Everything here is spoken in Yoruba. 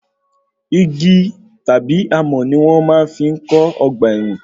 Igi tàbí amọ̀ ní wọn máa fi ń kó ọgbà ẹ̀wọ̀n.